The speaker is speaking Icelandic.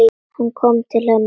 Hann kom til hennar.